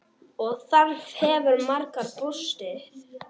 Og þar hefur margur brostið.